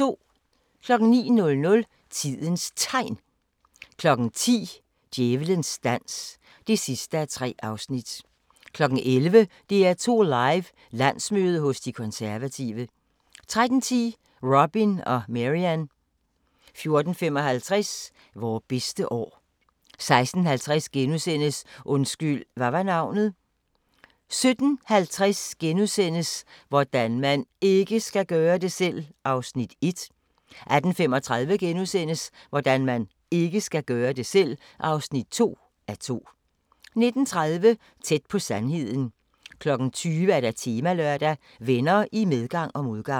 09:00: Tidens Tegn 10:00: Djævelens dans (3:3) 11:00: DR2 Live: Landsmøde hos De Konservative 13:10: Robin og Marian 14:55: Vore bedste år 16:50: Undskyld, hvad var navnet? * 17:50: Hvordan man IKKE skal gøre det selv! (1:2)* 18:35: Hvordan man IKKE skal gøre det selv! (2:2)* 19:30: Tæt på sandheden 20:00: Temalørdag: Venner i medgang og modgang